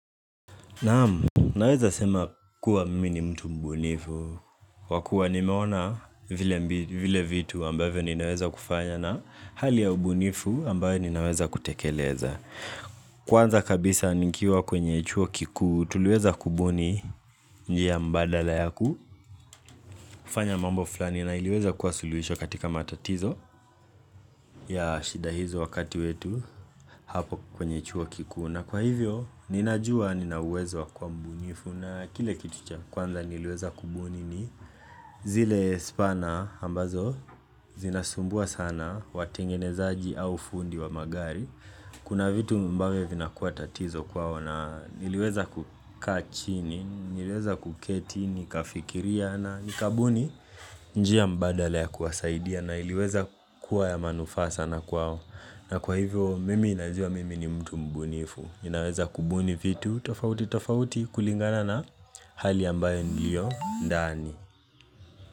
Naamu, naweza sema kuwa mimi ni mtu mbunifu wakuwa nimeona vile vitu ambavyo ninaweza kufanya na hali ya ubunifu ambayo ninaweza kutekeleza Kwanza kabisa nikiwa kwenye chuo kikuu, tuluweza kubuni njia mbadala yaku kufanya mambo fulani na iliweza kuwa suluhisho katika matatizo ya shida hizo wakati wetu hapo kwenye chuo kikuu na kwa hivyo ninajua nina uwezo kwa mbunifu na kile kitu cha kwanza niliweza kubuni ni zile spana ambazo zinasumbua sana watengenezaji au fundi wa magari Kuna vitu ambavyo vinakuwa tatizo kwao na niliweza kukaa chini, niliweza kuketi, nikafikiria na nikabuni njia mbadala ya kuwasaidia na iliweza kuwa ya manufaa sana kwao na kwa hivyo mimi najua mimi ni mtu mbunifu Ninaweza kubuni vitu tofauti tofauti kulingana na hali ambayo nilio ndani.